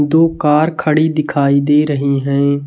दो कार खड़ी दिखाई दे रही है।